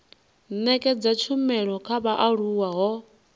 nekedza tshumelo kha vhaaluwa ho